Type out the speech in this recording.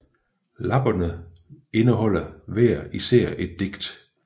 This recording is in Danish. Lapperne indeholder hver især et digt